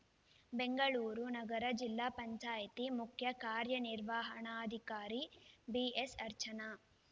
ಬೆಂಗಳೂರು ನಗರ ಜಿಲ್ಲಾ ಪಂಚಾಯಿತಿ ಮುಖ್ಯ ಕಾರ್ಯನಿರ್ವಹಣಾಧಿಕಾರಿ ಬಿಎಸ್‌ಅರ್ಚನಾ